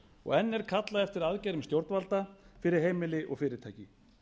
og enn er kallað eftir aðgerðum stjórnvalda fyrir heimili og fyrirtæki